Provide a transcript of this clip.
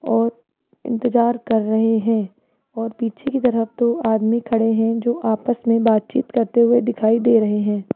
और इंतजार कर रहे हैं और पीछे की तरफ दो आदमी खड़े हैं जो आपस में बातचीत करते हुए दिखाई दे रहे हैं।